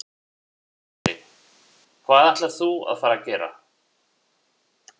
Sindri: Hvað ætlar þú að fara gera?